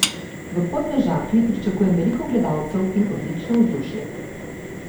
V Podmežakli pričakujem veliko gledalcev in odlično vzdušje.